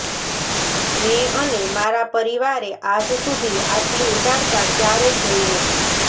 મેં અને મારા પરિવારે આજ સુધી આટલી ઉદારતા ક્યારેય જોઈ નથી